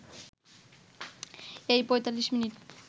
এই ৪৫ মিনিট